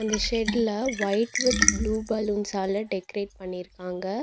இ ஷெட்ல white with blue பலூன்ஸ்ஸால decorate பண்ணிருக்காங்க.